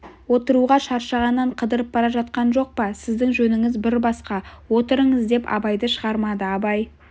отыруға шаршағаннан қыдырып бара жатқан жоқ па сіздің жөніңіз бір басқа отырыңыз деп абайды шығармады абай